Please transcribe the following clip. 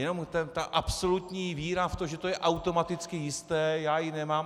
Jenom ta absolutní víra v to, že to je automaticky jisté, já ji nemám.